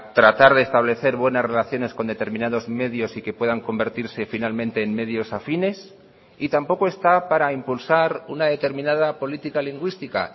tratar de establecer buenas relaciones con determinados medios y que puedan convertirse finalmente en medios afines y tampoco está para impulsar una determinada política lingüística